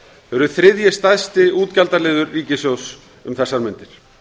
eru þriðji stærsti útgjaldaliður ríkissjóðs um þessar mundir